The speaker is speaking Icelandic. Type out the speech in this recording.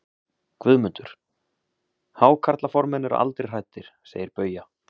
GUÐMUNDUR: Hákarlaformenn eru aldrei hræddir, segir Bauja.